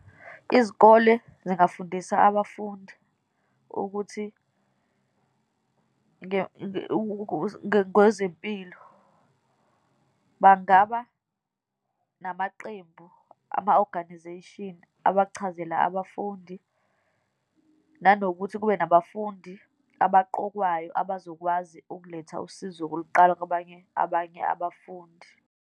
Izikole zingafundisa abafundi ukuthi ngezempilo. Bangaba namaqembu, ama-organisation abachazele abafundi, nanokuthi kube nabafundi abaqokwayo abazokwazi ukuletha usizo kuluqala kwabanye, abanye abafundi.